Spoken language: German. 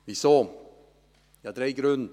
Wieso? – Ich habe drei Gründe.